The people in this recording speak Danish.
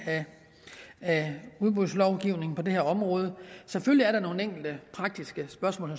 af udbudslovgivningen på det her område selvfølgelig er der nogle enkelte praktiske spørgsmål